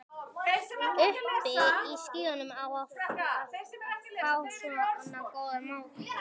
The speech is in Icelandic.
Uppi í skýjunum að fá svona góðar móttökur.